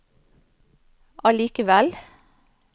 allikevel